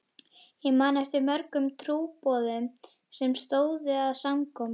Ég man eftir mörgum trúboðum sem stóðu að samkomum.